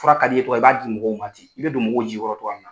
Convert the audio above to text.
Fura ka di ye i b'a di mɔgɔw ma ten i bɛ don mɔgɔw jigi kɔrɔ o cogoya la.